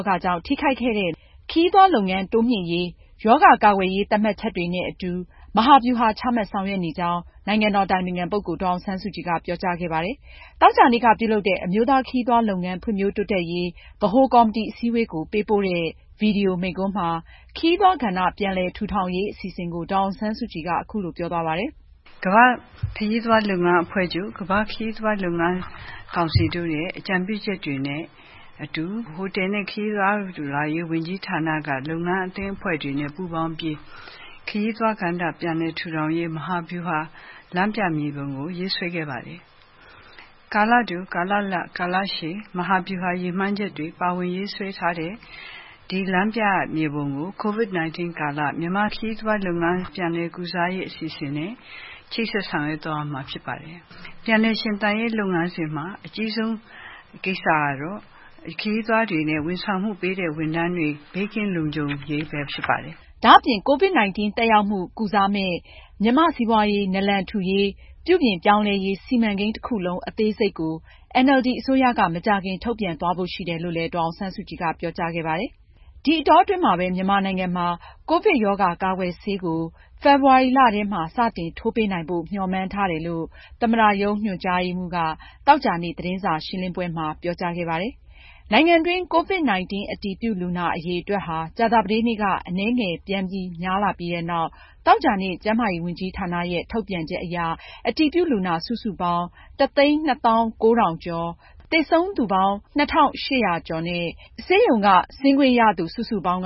ာဂါ ကြောင့် ထိခိုက်ခဲ့တဲ့ မြန်မာ့ ခရီးသွားလုပ်ငန်းတိုးမြှင့်ရေး အတွက် ရောဂါကာကွယ်ရေး သတ်မှတ်ချက်တွေနဲ့အတူ မဟာဗျူဟာချမှတ်ဆောင်ရွက်နေကြောင်း နိုင်ငံတော်အတိုင်ပင်ခံပုဂ္ဂိုလ် ဒေါ်အောင်ဆန်းစုကြည်က ပြောကြားခဲ့ပါတယ်။ သောကြာနေ့က ပြုလုပ်တဲ့ အမျိုးသားခရီးသွားလုပ်ငန်း ဖွံဖြိုးတိုးတက်ရေး ဗဟိုကော်မတီအစည်းအဝေးကို ပေးပို့တဲ့ ဗွီဒီယိုမိန့်ခွန်းမှာ ခရီးသွားကဏ္ဍ ပြန်လည်ထူထောင်ရေး အစီအစဉ်ကို ဒေါ်အောင်ဆန်းစုကြည်က အခုလိုပြောသွားပါတယ်။ ”ကမ္ဘာ့ခရီးသွားလုပ်ငန်းအဖွဲ့ချုပ်၊ ကမ္ဘာ့ခရီးသွားလုပ်ငန်းကောင်စီတို့ရဲ့ အကြံပြုချက်တွေနဲ့အတူ ဟိုတယ်နဲ့ ခရီးသွားလာရေးဝန်ကြီးဌာနက လုပ်ငန်းအသင်းအဖွဲ့တွေနဲ့ ပူးပေါင်းပြီး ခရီးသွားကဏ္ဍ ပြန်လည်ထူထောင်ရေး မဟာဗျူဟာ လမ်းပြမြေပုံကို ရေးဆွဲခဲ့ပါတယ်။ ကာလတို၊ ကာလလတ်၊ ကာလရှည် မဟာဗျူဟာ ရည်မှန်းချက်တွေ ပါဝင်ရေးဆွဲထားတဲ့ ဒီလမ်းပြမြေပုံကို COVID-19 ကာလ မြန်မာ့စီးပွားရေးလုပ်ငန်း ပြန်လည် ကုစားရေးအစီအစဉ်နဲ့ ချိတ်ဆက် ဆောင်ရွက်သွားရမှာဖြစ်ပါတယ်။ ပြန်လည်ရှင်သန်ရေးလုပ်ငန်းစဉ်မှာ အကြီးဆုံး ကိစ္စကတော့ ခရီးသွားတွေနဲ့ ဝန်ဆောင်မှုပေးတဲ့လုပ်ငန်းတွေ ဘေးကင်းလုံခြုံရေးပဲ ဖြစ်ပါတယ်။” ဒါအပြင် COVID-19 သက်ရောက်မှုကို ကုစားမယ့် မြန်မာ့စီးပွားရေး နာလန်ထူရေးနဲ့ ပြုပြင်ပြောင်းလဲရေး စီမံကိန်းတခုလုံး အသေးစိတ်ကိုတော့ NLD အစိုးရက မကြာခင်ထုတ်ပြန်သွားဖို့ရှိတယ်လို့လည်း ဒေါ်အောင်ဆန်းစုကြည်က ပြောကြားခဲ့ပါတယ်။ ဒီအတောအတွင်းမှာပဲ မြန်မာနိုင်ငံမှာ ကိုဗစ်ရောဂါကာကွယ်ဆေးကို ဖေဖော်ဝါရီလထဲမှာ စတင်ထိုးပေးနိုင်ဖို့ မေ ျှာ်မှန်းထားတယ်လို့ သမ္မတရုံး ညွှန်ကြားရေးမှူးက သောကြာနေ့ သတင်းစာရှင်းပွဲမှာ ပြောကြားခဲ့ပါတယ်။ နိုင်ငံတွင်း COVID-19 အတည်ပြုလူနာအရေအတွက်ဟာ ကြာသာပတေးနေ့က အနည်းငယ်ပြန်များလာပြီး သောကြာနေ့ ကျန်းမာရေးဝန်ကြီးဌာနရဲ့ ထုတ်ပြန်ချက်အရ အတည်ပြုလူနာ စုစုပေါင်းက ၁၂၉,၄၈၃ ယောက်၊ သေဆုံးလူနာက ၂,၈၁၂ ယောက်၊ ဆေးရုံက ဆင်းခွင့်ရသူ စုစုပေါင်း